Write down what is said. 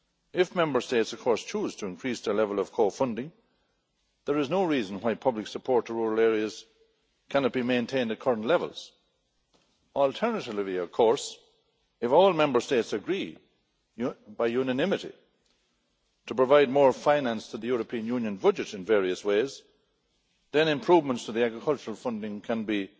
If Member States, of course, choose to increase their level of co funding, there is no reason why public support to rural areas cannot be maintained at current levels. Alternatively, of course, if all Member States agree by unanimity to provide more finance to the European Union budget in various ways, then improvements to the agricultural funding can